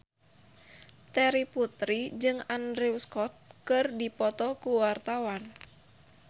Terry Putri jeung Andrew Scott keur dipoto ku wartawan